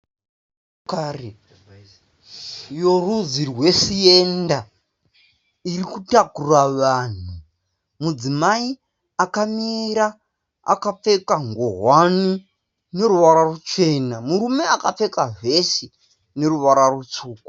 Motokari yorudzi rweSenta iri kutakura vanhu. Mudzimai akamira akapfeka ngowani ine ruvara ruchena. Murume akapfeka vhesi rine ruvara rutsvuku.